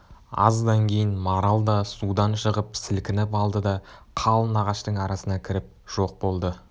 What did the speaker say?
аздан кейін марал да судан шығып сілкініп алды да қалың ағаштың арасына кіріп жоқ болды